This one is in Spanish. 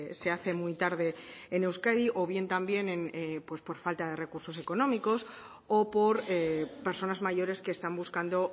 se hace muy tarde en euskadi o bien también por falta de recursos económicos o por personas mayores que están buscando